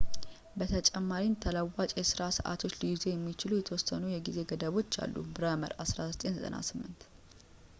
በተጨማሪም፣ ተለዋዋጭ የሥራ ሰዓቶችን ሊይዙ የሚችሉ የተወሰኑ የሆኑ የጊዜ ገደቦች አሉ። ብረመር፣ 1998